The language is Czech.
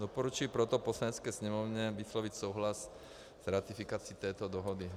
Doporučuji proto Poslanecké sněmovně vyslovit souhlas s ratifikací této dohody.